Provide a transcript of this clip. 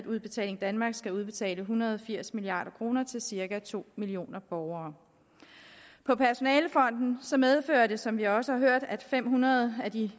udbetaling danmark skal udbetale en hundrede og firs milliard kroner til cirka to millioner borgere på personalefronten medfører det som vi også har hørt at fem hundrede af de